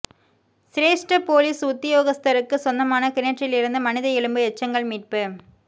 சிரேஷ்ட பொலிஸ் உத்தியோகஸ்தருக்குச் சொந்தமான கிணற்றிலிருந்து மனித எலும்பு எச்சங்கள் மீட்பு